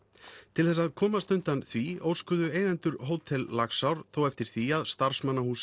til þess að komast undan því óskuðu eigendur Hótel Laxár eftir því að